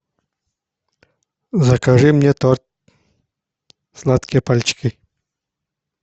закажи мне торт сладкие пальчики